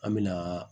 An me na